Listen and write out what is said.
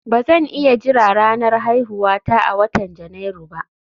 Ba zan iya jira ranar haihuwata a watan Janairu ba